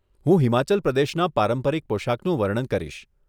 હું હિમાચલ પ્રદેશના પારંપરિક પોશાકનું વર્ણન કરીશ.